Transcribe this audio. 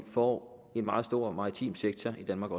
får en meget stor maritim sektor i danmark